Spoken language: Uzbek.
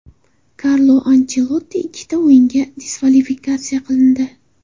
Karlo Anchelotti ikkita o‘yinga diskvalifikatsiya qilindi.